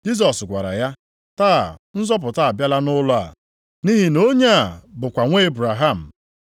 Jisọs gwara ya, “Taa nzọpụta abịala nʼụlọ a, nʼihi na onye a bụkwa nwa Ebraham.